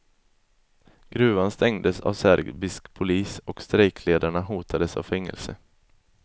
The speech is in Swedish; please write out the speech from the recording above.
Gruvan stängdes av serbisk polis och strejkledarna hotades av fängelse.